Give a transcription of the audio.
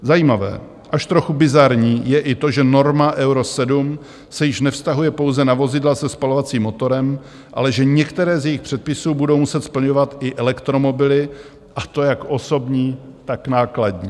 Zajímavé, až trochu bizarní je i to, že norma Euro 7 se již nevztahuje pouze na vozidla se spalovacím motorem, ale že některé z jejich předpisů budou muset splňovat i elektromobily, a to jak osobní, tak nákladní.